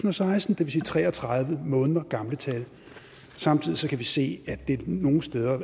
og seksten det vil sige tre og tredive måneder gamle tal samtidig kan vi se at der nogle steder